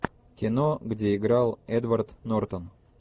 кино где играл эдвард нортон